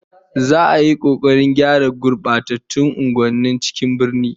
Za'a yi kokarin gyara gurbatattun unguwannin cikin birnin